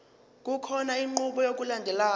kukhona inqubo yokulandelayo